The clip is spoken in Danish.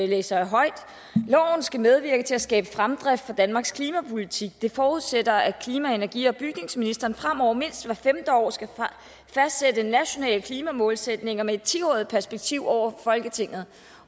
læser jeg højt loven skal medvirke til at skabe fremdrift for danmarks klimapolitik det forudsætter at klima energi og bygningsministeren fremover mindst hvert femte år skal fastsætte nationale klimamålsætninger med et ti årig t perspektiv over for folketinget